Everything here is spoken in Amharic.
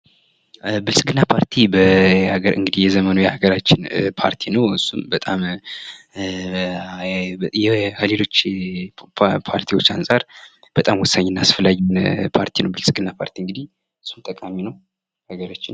ብልጽግና ፓርቲ እንግዲህ የዘመኑ የሀገራችን ፓርቲ ነው። እሱም በጣም ከሌሎች ፓርቲዎች አንጻር በጣም ወሳኝና አስፈላጊ ፓርቲ ነው። ብልጽግና ፓርቲ እንግዲህ በጣም ጠቃሚ ነው።